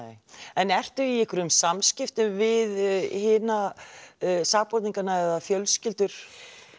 en ertu í einhverjum samskiptum við hina sakborningana eða fjölskyldur